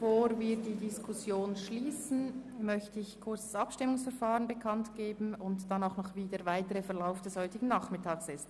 Bevor wir die Diskussion abschliessen, möchte ich kurz das Abstimmungsverfahren bekannt geben und über den weiteren Verlauf des heutigen Nachmittags informieren.